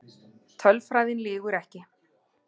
Tölfræðin lýgur ekki.